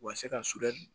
U ka se ka